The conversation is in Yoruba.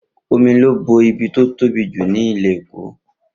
Omi ló bo ibi tí ó tóbi jù ní ilẹ̀ Èkó